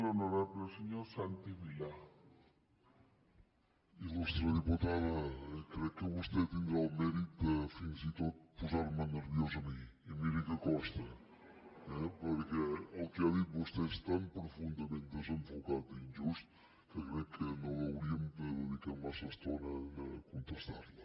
il·lustre diputada crec que vostè tindrà el mèrit de fins i tot posar me nerviós a mi i miri que costa eh perquè el que ha dit vostè és tan profundament desenfocat i injust que crec que no hauríem de dedicar massa estona a contestar li